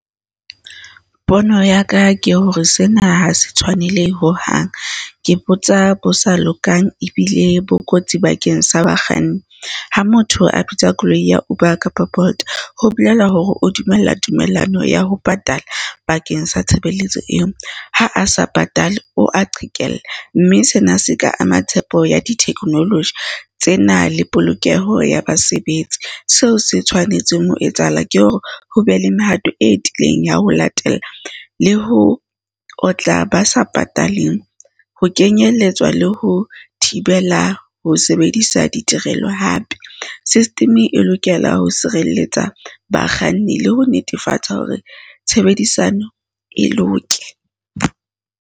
Pono ya ka ke hore sena ha se tshwanele hohang. Ke botsa bo sa lokang ebile bo kotsi bakeng sa bakganni. Ha motho a bitsa koloi ya Uber kapa Bolt ho bolela hore o dumella tumellano ya ho patala bakeng sa tshebeletso eo. Ha a sa patale o a qhekella. Mme sena se ka ama tshepo ya di-technology, tsena le polokeho ya basebetsi. Seo se tshwanetseng ho etsahala ke hore ho be le mehato e tiileng ya ho latela le ho otla ba sa pataleng, ho kenyelletswa le ho thibela ho sebedisa ditirelo hape. System e lokela ho sireletsa bakganni le ho netefatsa hore tshebedisano e loke.